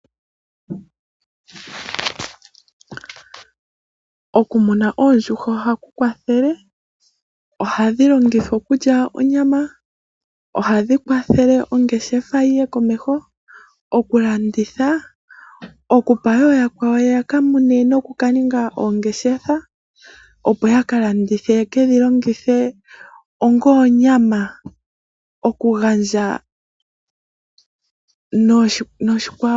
Okumuna oondjuhwa ohaku kwathele, ohadhi longithwa okulya onyama, ohadhi kwathele ongeshefa yiye komeho, okulanditha, okupa ooyakwawo ya kamune nokuka ninga oongeshefa, opo ya ka landithe ye ke dhilongithe ongoonyama. Okugandja niikwawo yilwe.